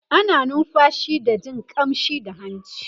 ana numfashi da Jin ƙamshi da hanci